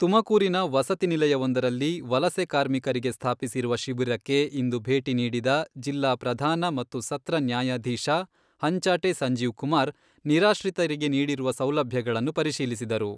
ತುಮಕೂರಿನ ವಸತಿ ನಿಲಯವೊಂದರಲ್ಲಿ ವಲಸೆ ಕಾರ್ಮಿಕರಿಗೆ ಸ್ಥಾಪಿಸಿರುವ ಶಿಬಿರಕ್ಕೆ ಇಂದು ಭೇಟಿ ನೀಡಿದ ಜಿಲ್ಲಾ ಪ್ರಧಾನ ಮತ್ತು ಸತ್ರ ನ್ಯಾಯಾಧೀಶ ಹಂಚಾಟೆ ಸಂಜೀವ್ಕುಮಾರ್, ನಿರಾಶ್ರಿತರಿಗೆ ನೀಡಿರುವ ಸೌಲಭ್ಯಗಳನ್ನು ಪರಿಶೀಲಿಸಿದರು.